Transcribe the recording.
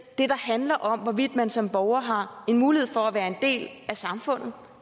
handler om hvorvidt man som borger har mulighed for at være en del af samfundet